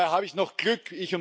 Und dabei habe ich noch Glück.